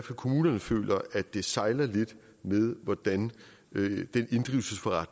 kommunerne føler det sejler lidt med hvordan